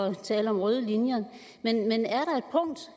at tale om røde linjer men